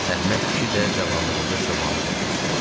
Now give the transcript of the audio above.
Əhməd kişi də cavanlığında çobanlıq eləmişdi.